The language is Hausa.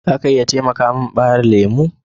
Za a iya taimaka min ɓaremin lemu?